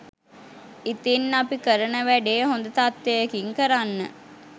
ඉතින් අපි කරන වැඩේ හොද තත්වයකින් කරන්න